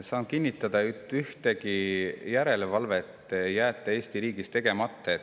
Saan kinnitada, et mingit järelevalvet ei jäeta Eesti riigis tegemata.